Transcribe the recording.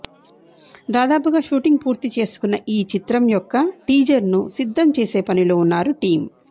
దాదాపుగా షూటింగ్ పూర్తికి చేసుకున్న ఈ చిత్రం యొక్క టీజర్ ను సిద్ధం చేసే పనిలో ఉన్నారు టీమ్